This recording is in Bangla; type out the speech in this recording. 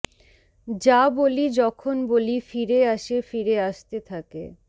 যা বলি যখন বলি ফিরে আসে ফিরে আসতে থাকে